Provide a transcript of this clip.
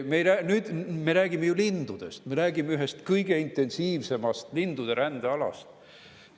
Me räägime lindudest, me räägime ühest kõige intensiivsema lindude rände alast.